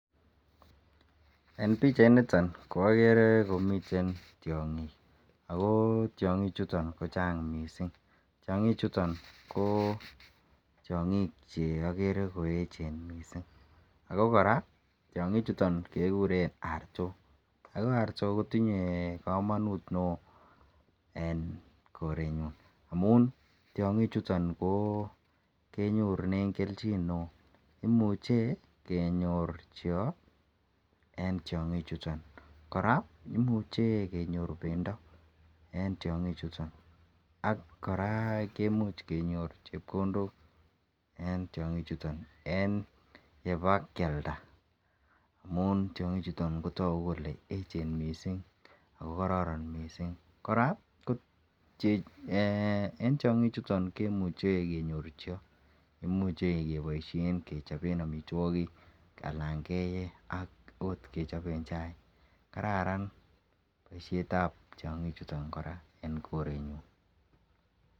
en pichait niton ko ogere komiten tyoongiik ooh tyongiik chuton kochaang mising, tyoongiik chuton koogere koecheen mising ago koraa tyongiik chuton kegureen artook ooh artook kotinyee komonuut neoo en korenyuun amuun tyongiik chuton kenyorunen kelchiin neoo, imuche kenyoor cheoo en tyongiik chuton koraa imuche kenyoor bendo en tyongiik chuton, ak koraa kemuch kenyoor chepkondook en tyongiik chuton en yebakyalda amun tyongiik chuton kotogu kole echeen mising ooh kororon mising, koraa en tyongiik chuton kemuche kenyoor cheeo cheimuche keboishen kechobeen omitwogiik alan keyee oot kechoben chaiik, kararan boishet ab tyongiik chuton koraa en korenyuun.